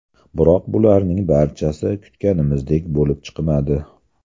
Biroq bularning barchasi kutganimizdek bo‘lib chiqmadi.